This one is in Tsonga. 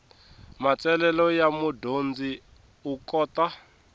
matsalelo ya mudyondzi u kota